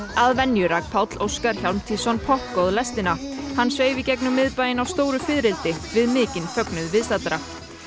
að venju rak Páll Óskar Hjálmtýsson lestina hann sveif í gegnum miðbæinn á stóru við mikinn fögnuð viðstaddra